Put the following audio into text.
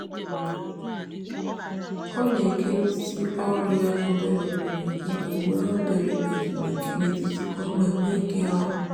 ọ na-ekerisị ọrụ ya obere obere iji nwee obere ezumike n'etiti ka ọ wee nwee ike ọrụ.